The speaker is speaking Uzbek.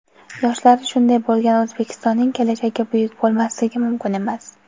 Yoshlari shunday bo‘lgan O‘zbekistonning kelajagi buyuk bo‘lmasligi mumkin emas!.